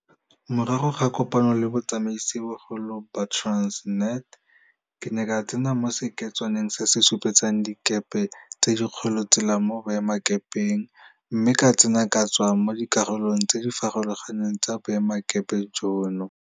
Morago ga kopano le botsamaisibogolo ba Transnet, ke ne ka tsena mo seketswaneng se se supetsang dikepe tse dikgolo tsela mo boemakepeng mme ka tsena ke tswa mo dikarolong tse di farologaneng tsa boemelakepe jono.